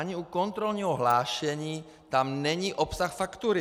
Ani u kontrolního hlášení tam není obsah faktury!